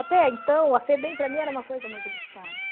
Até então, a Febem para mim era uma coisa muito distante.